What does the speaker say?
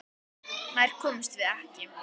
Nær komumst við ekki.